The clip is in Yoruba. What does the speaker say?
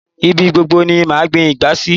Ibi gbobgo ni màá gbin ìgbá sí